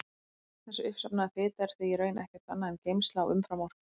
Þessi uppsafnaða fita er því í raun ekkert annað en geymsla á umframorku.